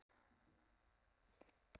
En þaut nú áköf af stað.